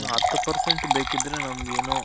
ಇನ್ನ್ ಹತ್ತ್ percent ಬೇಕಿದ್ರೆ ನಮ್ಗೆನೋ